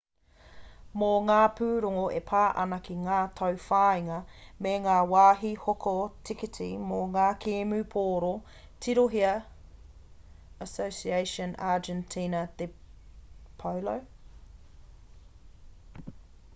mō ngā pūrongo e pā ana ki ngā tauwhāinga me ngā wāhi hoko tikiti mō ngā kēmu pōro tirohia asociacion argentina de polo